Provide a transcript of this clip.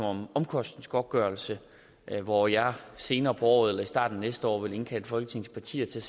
om omkostningsgodtgørelse hvor jeg senere på året eller i starten af næste år vil indkalde folketingets partier til